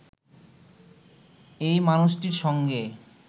এই মানুষটির সঙ্গে